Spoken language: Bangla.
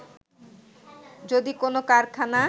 যদি কোন কারখানা